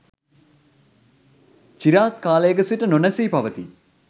චිරාත් කාලයක සිට නොනැසී පවතී.